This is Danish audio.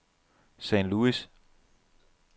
St. Louis